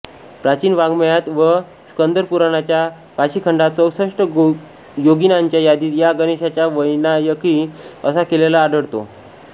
प्राचीन वाङ्मयात व स्कंदपुराणाच्या काशीखंडात चौसष्ट योगिनींच्या यादीत या गणेशाचा वैनायकी असा केलेला आढळतो